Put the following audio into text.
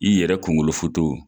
I yɛrɛ kunkolo foto